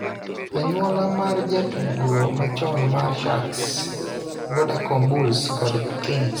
Anyuola mar jatugo machon mar Sharks, Vodacom Bulls kod Kings,